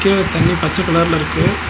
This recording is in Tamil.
கீழ தண்ணி பச்ச கலர்ல இருக்கு.